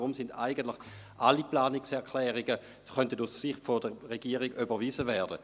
Deshalb könnten aus Sicht der Regierung eigentlich alle Planungserklärungen überwiesen werden.